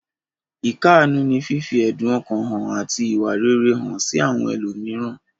Ìkáàánú ní fífi ẹ̀dun ọkàn hàn àti ìwà rere hàn sí àwọn ẹlòmíràn.